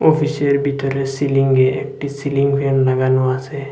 অফিসের বিতরে সিলিংয়ে একটি সিলিং ফ্যান লাগানো আসে।